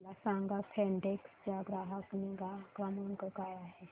मला सांगा फेडेक्स चा ग्राहक निगा क्रमांक काय आहे